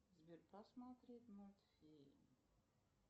сбер посмотреть мультфильм